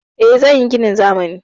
Eh, zan yi ginin zamani.